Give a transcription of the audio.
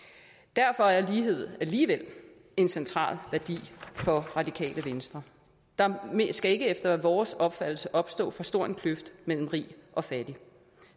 derfor er lighed alligevel en central værdi for radikale venstre der skal efter vores opfattelse ikke opstå for stor en kløft mellem rig og fattig